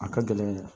A ka gɛlɛn dɛ